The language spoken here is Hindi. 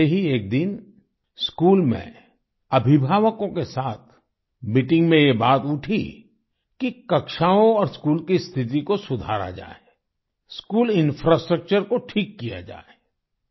ऐसे ही एक दिन स्कूल में अभिभावकों के साथ मीटिंग में ये बात उठी कि कक्षाओं और स्कूल की स्थिति को सुधारा जाए स्कूल इंफ्रास्ट्रक्चर को ठीक किया जाए